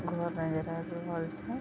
घर नजर आएब रहल छ।